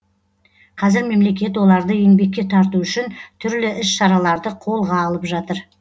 қазір мемлекет оларды еңбекке тарту үшін түрлі іс шараларды қолға алып жатыр